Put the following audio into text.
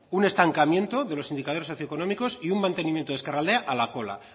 un estancamiento de los indicadores socioeconómicos y un mantenimiento de ezkerraldea a la cola